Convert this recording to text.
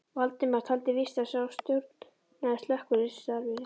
Valdimar taldi víst að sá stjórnaði slökkvistarfinu.